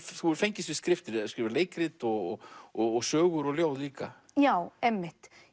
þú hefur fengist við skriftir skrifað leikrit og og sögur og ljóð líka já einmitt